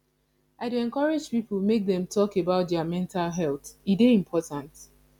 i dey encourage people make dem talk about their mental health e dey important